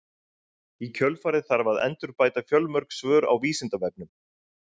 Í kjölfarið þarf að endurbæta fjölmörg svör á Vísindavefnum.